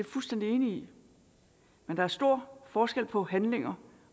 fuldstændig enig i men der er stor forskel på handlinger